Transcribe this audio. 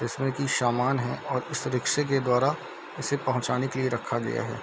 जिसमें की शामान है और उस रिक्शा के द्वारा इसे पहुंचाने के लिए रखा गया है।